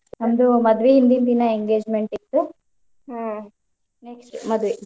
ನಂದು ಮದ್ವಿ ಹಿಂದಿನ ದಿನ engagement ಇತ್ತು ಮತ್ ಮದ್ವಿ.